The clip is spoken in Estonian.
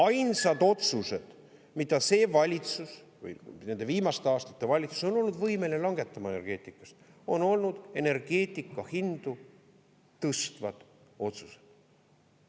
Ainsad otsused, mida see valitsus või nende viimaste aastate valitsus on olnud võimeline langetama energeetikas, on olnud energeetika hindu tõstvad otsused.